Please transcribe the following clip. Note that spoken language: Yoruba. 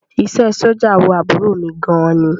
Iṣẹ́ ẹ sójà wu àbúrò mi gan ni